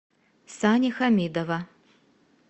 сани хамидова